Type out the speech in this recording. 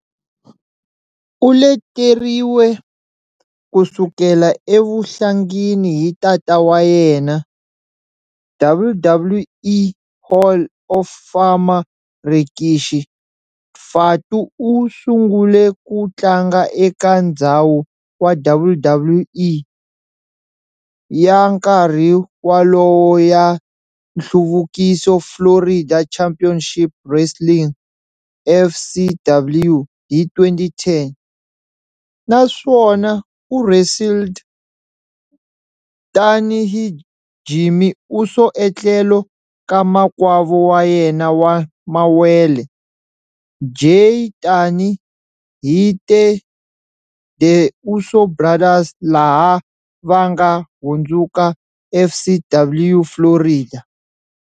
U leteriwe kusukela evuhlangini hi tata wa yena, WWE Hall of Famer Rikishi, Fatu u sungule ku tlanga eka ndzhawu wa WWE ya nkarhi walowo ya nhluvukiso Florida Championship Wrestling, FCW, hi 2010, naswona u wrestled tani hi Jimmy Uso etlhelo ka makwavo wa yena wa mawele, Jey tani hi The Uso Brothers laha vanga hundzuka FCW Florida.